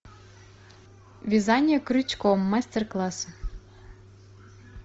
вязание крючком мастер класс